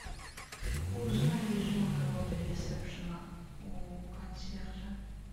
узнай режим работы ресепшена у консьержа